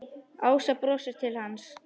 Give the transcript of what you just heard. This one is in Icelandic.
Ása brosir til hans.